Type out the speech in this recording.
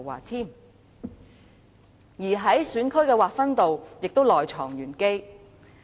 另一方面，選區的劃分也是內藏玄機。